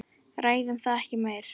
Ræðum það ekki meir.